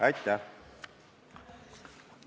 Aitäh!